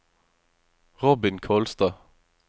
Robin Kolstad